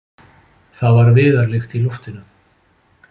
Það var viðarlykt í loftinu.